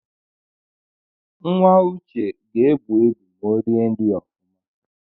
Nwa uche ga-ebu ịbụ ma o rie nri ofụma